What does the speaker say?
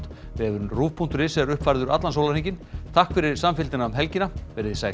vefurinn ruv punktur is er uppfærður allan sólarhringinn takk fyrir samfylgdina um helgina verið þið sæl